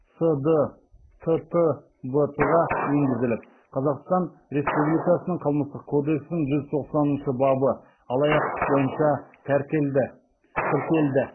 сдттбт ға енгізіліп қазақстан республикасының қылмыстық кодексінің жүз тоқсаныншы бабы алаяқтық бойынша тіркелді